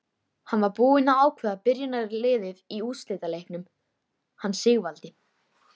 Hann var búinn að ákveða byrjunarliðið í úrslitaleiknum hann Sigvaldi.